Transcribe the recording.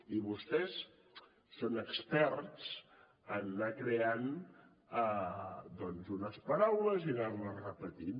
i vostès són experts en anar creant doncs unes paraules i anarles repetint